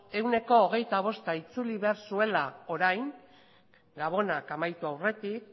ehuneko hogeita bosta itzuli behar zuela orain gabonak amaitu aurretik